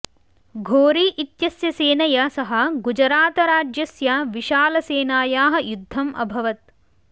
घोरी इत्यस्य सेनया सह गुजरातराज्यस्य विशालसेनायाः युद्धम् अभवत्